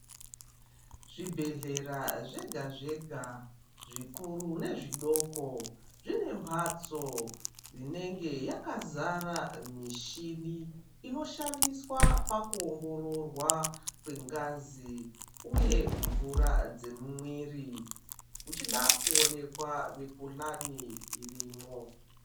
Zvibhedhlera zvega zvega zvikuru nezvidoko zvine mbatso inenge yakazara mishini inoshandiswa pakuongororwa kwengazi uye mvura dzemumwiri uchida kuonekwa mikuhlani irimo.